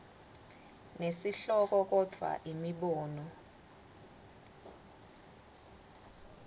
nesihloko kodvwa imibono